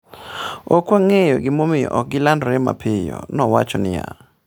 Ok wang’eyo gimomiyo ok gilandore mapiyo,'' nowacho niya.